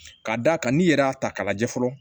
Ka d'a kan n'i yɛrɛ y'a ta k'a lajɛ fɔlɔ